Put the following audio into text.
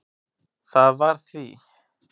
Það var því